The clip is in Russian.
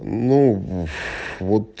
ну вот